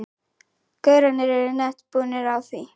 gaurarnir eru nett búnir á því.